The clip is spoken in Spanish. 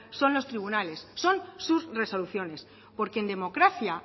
son los tribunales son sus resoluciones porque en democracia